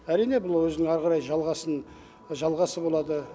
әрине бұл өзінің әрі қарай жалғасын жалғасы болады